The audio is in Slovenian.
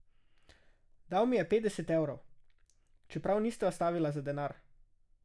Dal mi je petdeset evrov, čeprav nisva stavila za denar.